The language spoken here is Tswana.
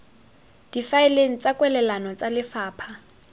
difaeleng tsa kwalelano tsa lefapha